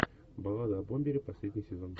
баллада о бомбере последний сезон